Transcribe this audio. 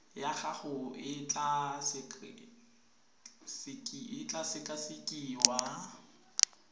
ya gago e tla sekasekiwa